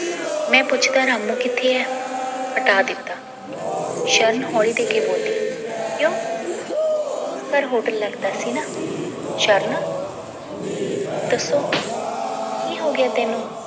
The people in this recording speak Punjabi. ਮੈ ਪੁੱਛਦਾਂ ਰਾਮੁ ਕਿਥ੍ਹੇ ਆ ਹਟਾ ਦਿੱਤਾ ਸ਼ਰਨ ਹੌਲੀ ਦੇਕੇ ਬੋਲੀ ਕਯੋਂ ਘਰ ਹੋਟਲ ਲੱਗਦਾ ਸੀ ਨਾ ਸ਼ਰਨ ਦੱਸੋ ਕੀ ਹੋਗਿਆ ਤੈਨੂੰ